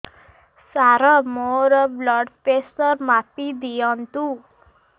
ସାର ମୋର blood pressure ମାପି ଦିଅନ୍ତୁ